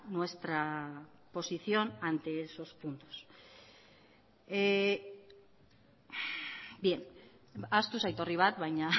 nuestra posición ante esos puntos bien ahaztu zait orri bat baina